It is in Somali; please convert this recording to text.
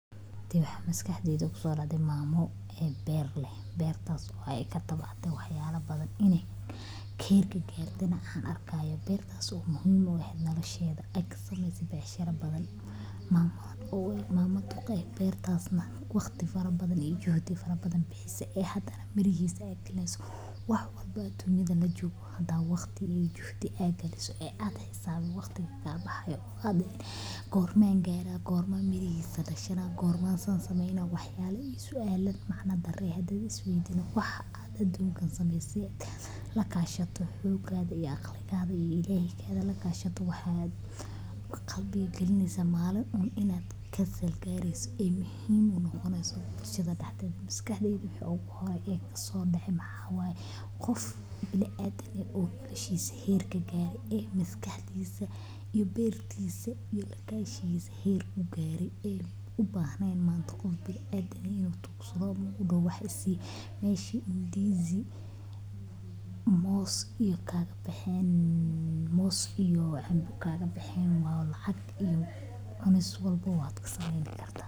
Waxa maskaxdeyda kusodacday mamo e beer leeh tas o ay katabcatay waxyala badan ber kabeytana anarko bertas o muhim u eh nolasheda kasmeysaneysa becshara badan mamada wa mama duq eh waqti badan iyo juhdi fara badan bixisay e hadana mirihisa ayguraneyso waxwalba a dunyada jogo hada waqti iyo juhdi galiso e ad xisabinin waqtiga kabaxaayo gorme gara gorme mirahisa dashana gorme san sameyna waxyaba iyo suala macna dara hadi ad isweydiso waxad ad smeyni hadi ad lakashato aqligaga iyo ilahay gaga lakshato waxa qalbiga galineysa malin un inad kasal garisid e muhim noqoneyso sida maskaxdeyda kaso dacay waxaway qof ibni adam ah e nolashisa herka kagaray e maskaxdisa iyo beertisa iyo lakashgisa garay e ubahnen qof ibni adam inu tuugsado ama u daho waxisi mesha ndizi moos kagabaxen moos iyo canba kagabaxen wa lacag iyo cunis walbaba kasameyn karta.